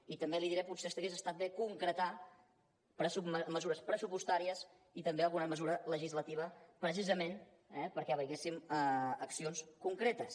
i també li diré potser hagués estat bé concretar mesures pressupostàries i també alguna mesura legislativa precisament eh perquè veiéssim accions concretes